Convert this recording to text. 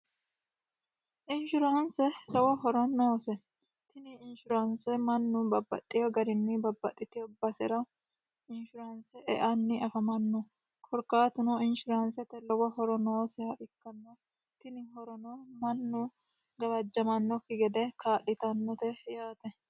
inshuraanse lowo horo noose tini inshuraanse mannu babbaxxiyo garinni babbaxxitio basera inshiraanse eanni afamanno korkaatuno inshiraansete lowo horo nooseha ikkanno tini horono mannu gawajjamannokki gede kaalitannote yaate